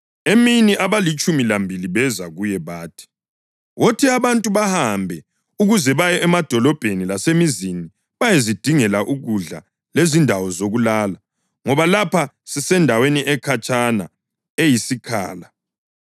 Emini abalitshumi lambili beza kuye bathi, “Wothi abantu bahambe ukuze baye emadolobheni lasemizini bayezidingela ukudla lezindawo zokulala ngoba lapha sisendaweni ekhatshana eyisikhala.”